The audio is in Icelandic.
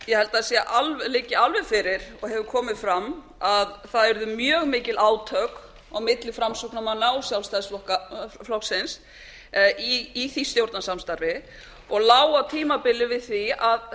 ég held að það liggi alveg fyrir og hefur komið fram að það urðu mjög mikil átök á milli framsóknarmanna og sjálfstæðisflokksins í því stjórnarsamstarfi og lá á tímabili við því að